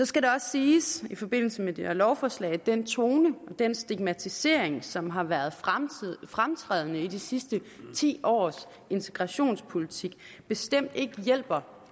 skal det også siges i forbindelse med det her lovforslag at den tone og den stigmatisering som har været fremtrædende i de sidste ti års integrationspolitik bestemt ikke hjælper